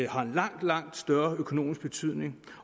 har en meget meget stor økonomisk betydning